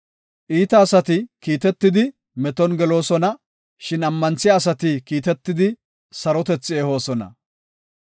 Iita asati kiitetidi, meton geloosona; shin ammanthiya asati kiitetidi, sarotethi ehoosona.